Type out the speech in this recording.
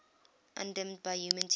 undimmed by human tears